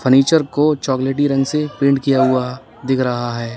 Furniture को चॉकलेटी रंग से पेंट किया हुआ दिख रहा है।